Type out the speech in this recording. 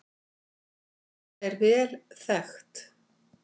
Þetta er vel þekkt